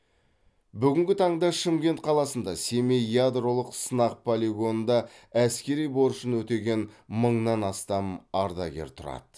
бүгінгі таңда шымкент қаласында семей ядролық сынақ полигонында әскери борышын өтеген мыңнан астам ардагер тұрады